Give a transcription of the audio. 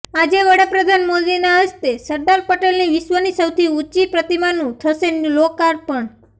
આજે વડાપ્રધાન મોદીના હસ્તે સરદાર પટેલની વિશ્વની સૌથી ઊંચી પ્રતિમાનું થશે લોકાર્પણ